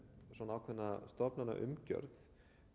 ákveðna stofnanaumgjörð